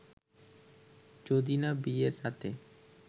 যদি না বিয়ের রাতে